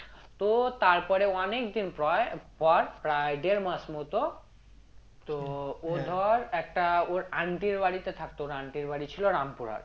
তো তারপরে অনেকদিন পর পর প্রায় দেড় মাস মত তো ও ধর একটা ওর aunty এর বাড়িতে থাকতো ওর aunty এর বাড়ি ছিল রামপুরহাট